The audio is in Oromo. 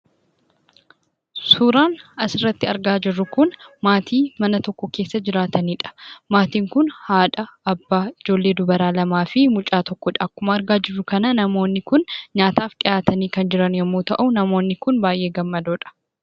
Suuraan asirratti argaa jirru kun maatii mana tokko keessa jiraataniidha. Maatiin kun haadha, abbaa, ijoollee dubaraa lamaa fi mucaa tokkodha. Akkuma argaa jirru kana, namoonni nyaataaf dhihaatanii kan jiran yemmuu ta'u, namoonni kun baay'ee gammadoodha.